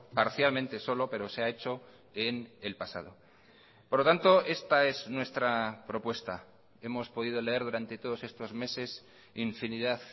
parcialmente solo pero se ha hecho en el pasado por lo tanto esta es nuestra propuesta hemos podido leer durante todos estos meses infinidad